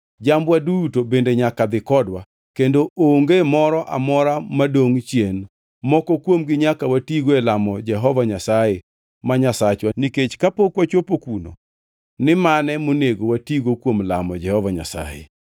Jambwa duto bende nyaka dhi kodwa; kendo onge moro amora madongʼ chien. Moko kuomgi nyaka watigo e lamo Jehova Nyasaye ma Nyasachwa, nikech kapok wachopo kuno to ok wabi ngʼeyo ni mane monego watigo kuom lamo Jehova Nyasaye.”